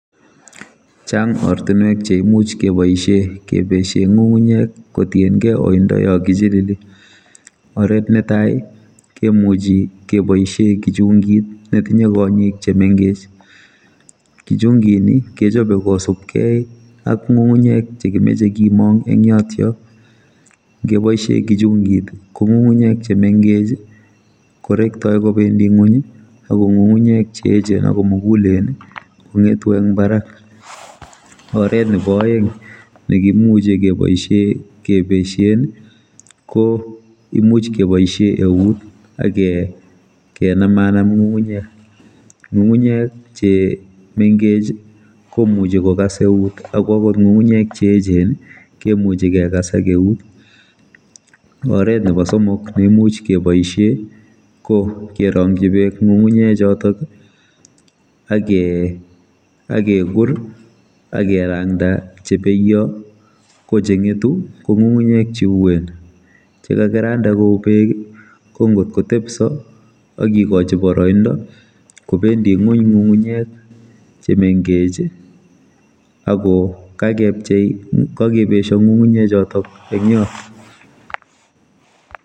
Chang ortinwek cheimuch keboisie kebeshe ngungunyek kotiengei oindo yokichilili oret netai kemuchikeboisie kichungit netinye kongik chememgech kichungini kechope kisubkei ak ngungunyek chekimeche komong eng yotok ngeboisie kichungit kongungunyek chemengeh korektoi kobendi ngony akongungunyek cheechen ako mugulen kongetu eng barak oret nebo aeng nekimuchi keboisien kebeshen koimuch keboisie eut akenam anam ngungunyek ngungunyek che mengech komuchi kokas eut akwangot ngununyek cheechen kemuchi kekas ak eut oret nebo somok neimuch keboisie kokeronji bek ngungunyechotok akekur akerangda cheboiyo kochengetu kongungunyek cheuen chekakiranda kou bek kongotkotepso akikochi boroindo kobendi ngony ngungunyek chemengech akokakebesyo ngungunyechotok eng yot